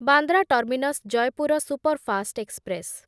Bandra terminus Jaipur superfast express